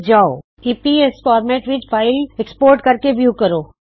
file ਨੂੰ EPS format ਵਿੱਚ export ਕਰੋ ਤੇ ਵਿਉ ਕਰੋ